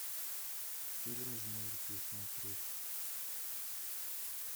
фильм жмурки смотреть